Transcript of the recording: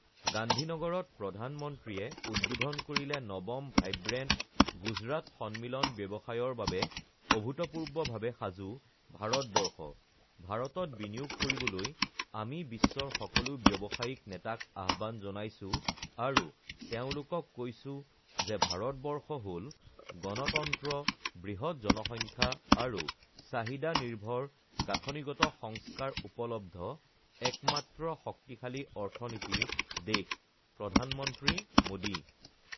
গান্ধীনগৰত প্ৰধানমন্ত্ৰীয়ে উদ্বোধন কৰিলে নৱম ভাইব্ৰেণ্ট গুজৰাট সন্মিলন ব্যৱসায়ৰ বাবে অভূতপূৰ্বভাৱে সাজু ভাৰতবৰ্ষ, ভাৰতত বিনিয়োগ কৰিবলৈ আমি বিশ্বৰ সকলো ব্যৱসায়িক নেতাক আহ্বান জনাইছো আৰু তেওঁলোকক কৈছো যে ভাৰতবৰ্ষ হ ল গণতন্ত্ৰ, বৃহৎ জনসংখ্যা আৰু চাহিদা নিৰ্ভৰ গাঁথনিগত সংস্কাৰ উপলব্ধ একমাত্ৰ শক্তিশালী অৰ্থনীতিৰ দেশঃ প্ৰধানমন্ত্ৰী মোদী